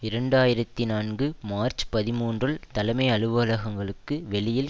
இரண்டு ஆயிரத்தி நான்கு மார்ச் பதிமூன்றுல் தலைமை அலுவலகங்களுக்கு வெளியில்